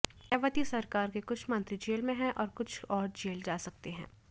मायावती सरकार के कुछ मंत्री जेल में हैं और कुछ और जेल जा सकते हैं